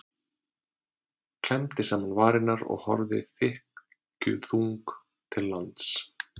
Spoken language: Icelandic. Klemmdi saman varirnar og horfði þykkjuþung til lands.